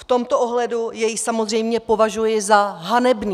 V tomto ohledu jej samozřejmě považuji za hanebný.